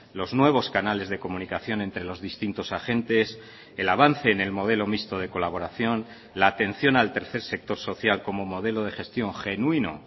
los nuevos canales de comunicación entre los distintos agentes el avance en el modelo mixto de colaboración la atención al tercer sector social como modelo de gestión genuino